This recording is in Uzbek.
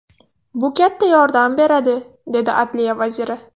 Bu katta yordam beradi”, dedi Adliya vaziri.